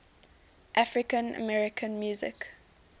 african american music